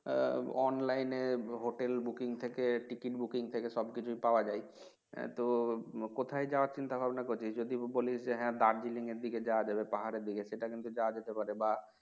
আহ Online এ Hotel, booking থেকে ticket, booking থেকে সবকিছুই পাওয়া যায় এর তো কোথায় যাওয়ার চিন্তা ভাবনা করছিস যদি বলিস যে হ্যাঁ দার্জেলিং এর দিকে যাওয়া যাবে পাহাড়ের দিকে সেটা কিন্তু যাওয়া যেতে পারে বা